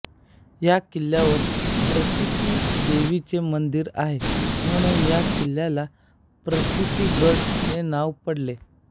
या किल्ल्यावर प्रचीती देवीचे मंदिर आहे म्हणून या किल्ल्याला प्रचीतीगड हे नाव पडले